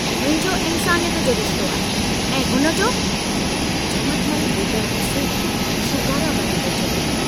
मुंहिंजो इन्सानियत जो रिश्तो आहे ऐं हुनजो झमटमल वेतर गुस्से में शूकारा भरींदे चयो।